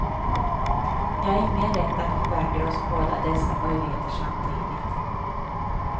Ni har ingen rätt att förvägra oss båda dessa möjligheter samtidigt.